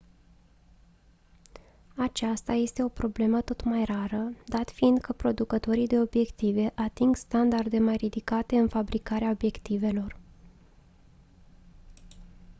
aceasta este o problemă tot mai rară dat fiind că producătorii de obiective ating standarde mai ridicate în fabricarea obiectivelor